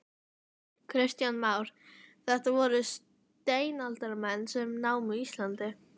Kristján Már: Þetta voru steinaldarmenn sem námu Ísland?